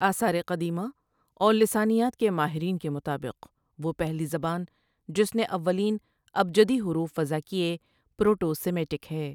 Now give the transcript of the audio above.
آثارِ قدیمہ اور لسانیات کے ماہرین کے مطابق وہ پہلی زبان جس نے اولین ابجدی حروف وضع کیے پروٹو سیمیٹک ہے۔